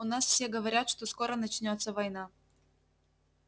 у нас все говорят что скоро начнётся война